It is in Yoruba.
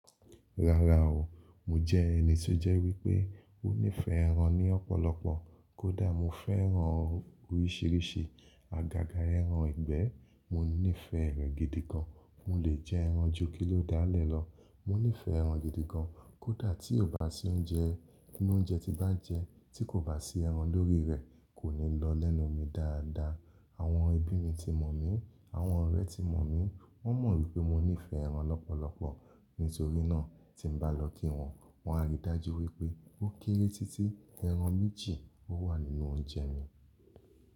Rárá o, mo jẹ́ ẹni tó jẹ́ wípé ó nífẹ̀ẹ́ ẹran ní ọ̀pọ̀lọpọ̀. Kódà mo fẹ́ran oríṣiríṣi àgàgà ẹran ìgbẹ́, mo nífẹ̀ẹ́ rẹ̀ gidi gan. Mò le jẹ ẹran ju kí ló dáálẹ̀ lọ. Mo nífẹ̀ẹ́ ẹran gidi gan, kódà tí ó bá sí oúnjẹ, kun óúnjẹ tí bá jẹ, tí kò bá sí ẹran lórí rẹ̀ kò ní lọ lẹ́nu mi dáadáa. Àwọn ẹbí mi ti mọ̀ mí, àwọn ọ̀rẹ́ ti mọ̀ mí, wọ́n mọ̀ wípé mo nífẹ̀ẹ́ ẹran lọ́pọ̀lọpọ̀. Nítorí náà tí n bá lọ kí wọn, wọn á rí dájú wípé ó kéré títí ẹran méjì ó wà nínú oúnjẹ mi.